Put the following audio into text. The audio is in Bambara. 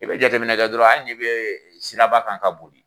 I bɛ jateminɛ kɛ dɔrɔn hali n'i bɛ siraba kan ka boli.